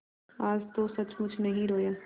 आज तो सचमुच नहीं रोया